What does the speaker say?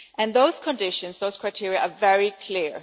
And those conditions, those criteria, are very clear.